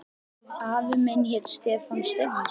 Afi minn hét Stefán Stefánsson.